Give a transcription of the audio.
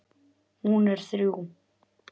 Hún er þrjú.